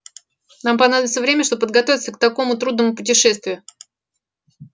нам понадобится время чтобы подготовиться к такому трудному путешествию